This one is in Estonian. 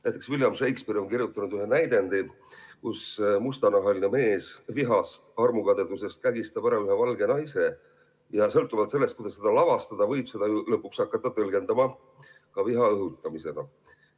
Näiteks William Shakespeare on kirjutanud ühe näidendi, kus mustanahaline mees vihast, armukadedusest kägistab ära ühe valge naise, ja sõltuvalt sellest, kuidas seda lavastada, võib seda lõpuks hakata tõlgendama ka viha õhutamisena.